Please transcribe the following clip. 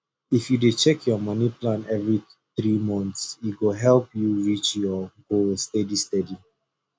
if you dey check your money plan every three months e go help you reach your goal steady steady